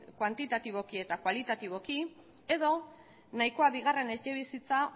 kuantitatiboki eta kualitatiboki edo nahikoa bigarren etxebizitza